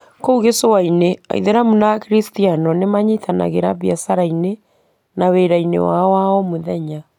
Kou gĩcũa-inĩ, Aithĩramu na Akristiano nĩ manyitanagĩra biacara-inĩ na wĩra-inĩ wao wa omũthenya.